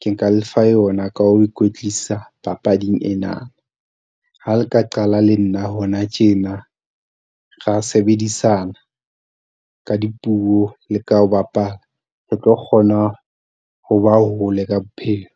ke nka le fa yona ka ho ikwetlisa papading ena. Ha le ka qala le nna hona tjena, ra sebedisana ka dipuo le ka ho bapala. Re tlo kgona ho ba hole ka bophelo.